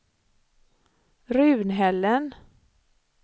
Runhällen